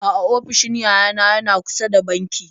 A'a ofishin yayana yana kusa da banki.